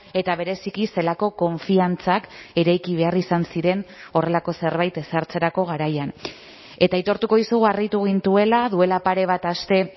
eta bereziki zelako konfiantzak eraiki behar izan ziren horrelako zerbait ezartzerako garaian eta aitortuko dizugu harritu gintuela duela pare bat aste